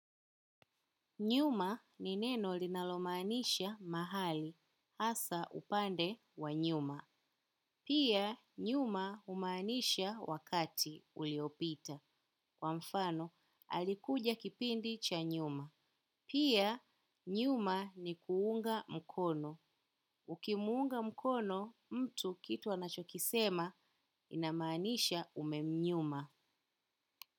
Nyuma ni neno linalomaanisha mahali hasa upande wa nyuma. Pia nyuma umaanisha wakati uliopita. Kwa mfano, alikuja kipindi cha nyuma. Pia nyuma ni kuunga mkono. Ukimuunga mkono, mtu kitu anachokisema inamanisha umemnyuma.